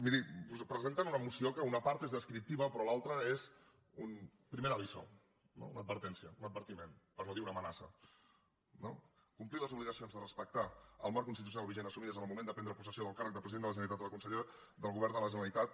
miri presenten una moció que una part és descriptiva però l’altra és un primer aviso no una advertència un advertiment per no dir una amenaça no complir les obligacions de respectar el marc constitucional vigent assumides en el moment de prendre possessió del càrrec de president de la generalitat o de conseller del govern de la generalitat